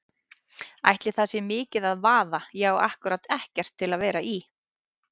Ætli það sé mikið að vaða, ég á ákkúrat ekkert til að vera í.